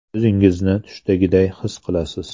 O‘zingizni tushdagiday his qilasiz.